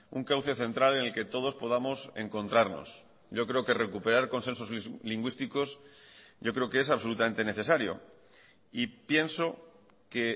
un cauce central en el que todos podamos encontrarnos yo creo que recuperar consensos lingüísticos yo creo que es absolutamente necesario y pienso que